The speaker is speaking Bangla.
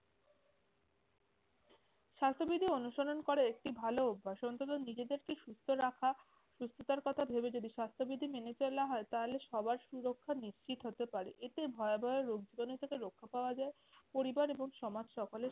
স্বাস্থ্যবিধি অনুসরণ করা একটি ভালো অভ্যাস অন্তত নিজেদেরকে সুস্থ রাখা সুস্থতার কথা ভেবে যদি স্বাস্থ্যবিধে মেনে চলা হয় তাহলে সবার সুরক্ষা নিশ্চিত হতে পারে। এতে ভয়াবহ রোগ জীবাণু থেকে রক্ষা পাওয়া যায়, পরিবার এবং সমাজ সকলের